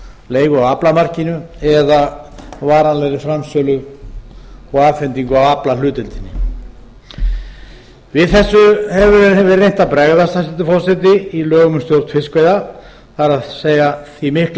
leigu á aflamarkinu eða varanlegri framsölu og afhendingu á aflahlutdeildinni við þessu hefur verið reynt að bregðast hæstvirtur forseti í lögum um stjórn fiskveiða það er því mikla